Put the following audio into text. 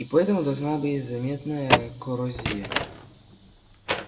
и поэтому должна быть заметная коррозия